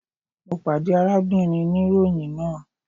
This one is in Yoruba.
Mo pade arábìnrin niroyin náà